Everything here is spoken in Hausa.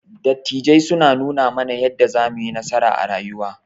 Dattijai suna nuna mana yadda zamuyi nasara a rayuwa.